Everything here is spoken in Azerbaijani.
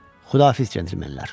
Xudahafiz cənabmenlər.